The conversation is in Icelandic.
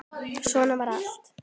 Svona var allt.